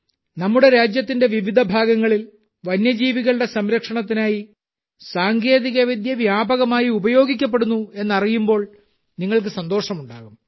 നമ്മുടെ രാജ്യത്തിന്റെ വിവിധ ഭാഗങ്ങളിൽ വന്യജീവികളുടെ സംരക്ഷണത്തിനായി സാങ്കേതികവിദ്യ വ്യാപകമായി ഉപയോഗിക്കപ്പെടുന്നു എന്നറിയുമ്പോൾ നിങ്ങൾക്ക് സന്തോഷമുണ്ടാകും